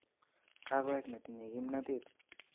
Kakowek neti'nye kipnotet